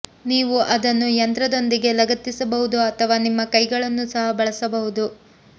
ನೀವು ಅದನ್ನು ಯಂತ್ರದೊಂದಿಗೆ ಲಗತ್ತಿಸಬಹುದು ಅಥವಾ ನಿಮ್ಮ ಕೈಗಳನ್ನು ಸಹ ಬಳಸಬಹುದು